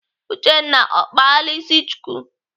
Uchenna ọ kpala ịsị chuku?